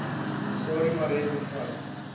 sarie marais bevat